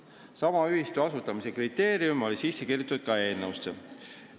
Sama ühistu asutamise kriteerium oli sisse kirjutatud ka eelnõusse.